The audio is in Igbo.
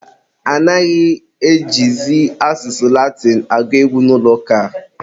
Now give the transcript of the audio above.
mba, anaghị ejizi asụsụ Latinụ agụ egwu n'ụlọ ụka.